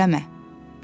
Cığallıq eləmə.